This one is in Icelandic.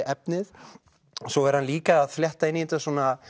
efnið svo er hann líka að flétta inn í þetta